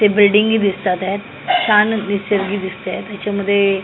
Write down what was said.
ते बिल्डिंगी दिसतात आहेत छान निसर्गी दिसतंय त्याच्यामध्ये--